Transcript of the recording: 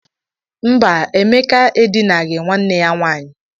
Mba, Emeka edinaghị nwanne ya nwaanyị.